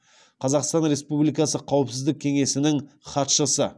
қазақстан республикасы қауіпсіздік кеңесінің хатшысы